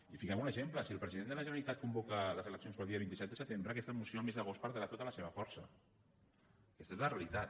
i fiquem ne un exemple si el president de la generalitat convoca les eleccions per al dia vint set de setembre aquesta moció al mes d’agost perdrà tota la seva força aquesta és la realitat